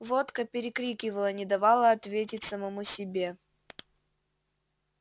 водка перекрикивала не давала ответить самому себе